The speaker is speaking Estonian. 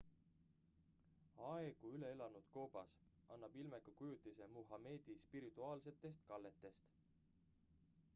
aegu üle elanud koobas annab ilmeka kujutise muhamedi spirituaalsetest kalletest